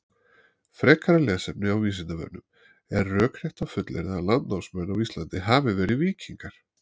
Frekara lesefni á Vísindavefnum: Er rökrétt að fullyrða að landnámsmenn á Íslandi hafi verið víkingar?